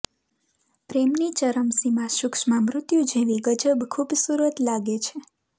પ્રેમની ચરમસીમા સૂક્ષ્મ મૃત્યુ જેવી ગજબ ખૂબસૂરત લાગે છે